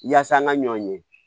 Yaasa an ka ɲɔ ɲɛ